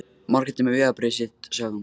Margrét er með vegabréfið sitt, sagði hún.